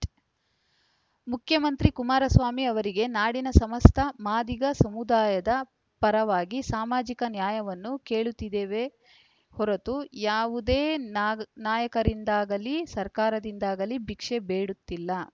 ಮುಖ್ಯಮಂತ್ರಿ ಕುಮಾರಸ್ವಾಮಿ ಅವರಿಗೆ ನಾಡಿನ ಸಮಸ್ತ ಮಾದಿಗ ಸಮುದಾಯದ ಪರವಾಗಿ ಸಾಮಾಜಿಕ ನ್ಯಾಯವನ್ನು ಕೇಳುತ್ತಿದ್ದೇವೆ ಹೊರತು ಯಾವುದೇ ನಾಯಕರಿಂದಾಗಲೀ ಸರ್ಕಾರದಿಂದಾಗಲೀ ಭಿಕ್ಷೆ ಬೇಡುತ್ತಿಲ್ಲ